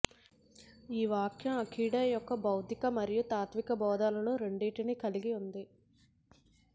ఈ వాక్యం అకిడో యొక్క భౌతిక మరియు తాత్విక బోధనలను రెండింటినీ కలిగి ఉంది